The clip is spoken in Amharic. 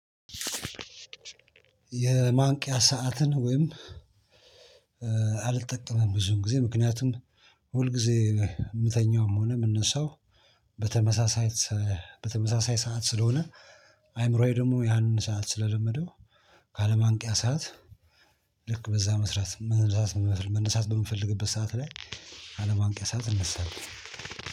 የማንቂያ ሰዓትን ወይም አልጠቀመም ብዙን ጊዜ ምክንያቱም ሁል ጊዜ የምተኛውም ሆነ የምነሳው። በተመሳሳይ በተመሳሳይ ሰዓት ስለሆነ አእምሮዬ ደግሞ ያንን ሰዓት ስለለመደው። ከአለማንቅያ ሰዓት ልክ በዛ መስራት መነሳት መነሳት በምፈልግበት ሰዓት ላይ። አለማንቂያ ሰዓት እነሳለሁ።